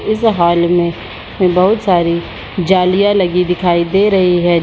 इस हॉल मे बहुत सारी जालियां लगी दिखाई दे रही है।